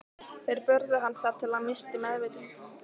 Þeir börðu hann þar til hann missti meðvitund.